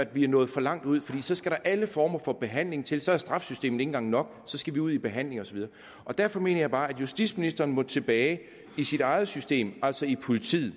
vi er nået for langt ud for så skal der alle mulige former for behandling til så er straffesystemet ikke engang nok så skal vi ud i behandling og så videre derfor mener jeg bare at justitsministeren må tilbage i sit eget system altså i politiet